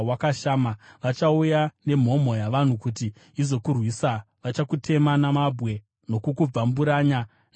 Vachauya nemhomho yavanhu kuti izokurwisa, vachakutema namabwe nokukubvamburanya neminondo yavo.